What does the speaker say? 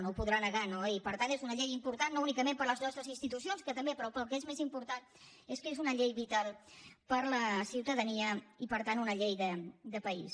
no ho podrà negar no i per tant és una llei important no únicament per a les nostres institucions que també però el que és més important és que és una llei vital per a la ciutadania i per tant una llei de país